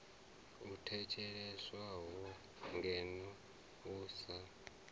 u theliswaho ngeno u sa